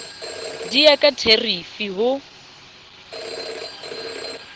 di ya ka therifi ho